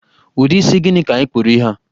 Ụdị isi gịnị ka ị kpụrụ ihe a?